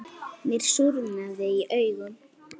Mér súrnaði í augum.